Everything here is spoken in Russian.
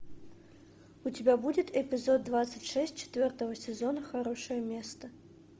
у тебя будет эпизод двадцать шесть четвертого сезона хорошее место